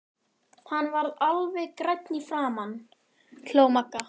Hann varð alveg grænn í fram- an! hló Magga.